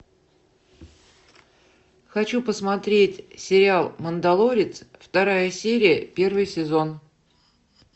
хочу посмотреть сериал мандалорец вторая серия первый сезон